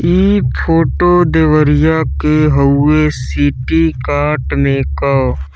इ फोटो देवरिया के हउवे सिटीकार्ट --